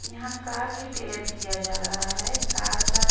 यहां car repair किया जा रहा है कार का--